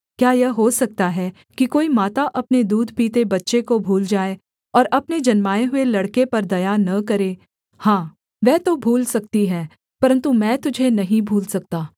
क्या यह हो सकता है कि कोई माता अपने दूध पीते बच्चे को भूल जाए और अपने जन्माए हुए लड़के पर दया न करे हाँ वह तो भूल सकती है परन्तु मैं तुझे नहीं भूल सकता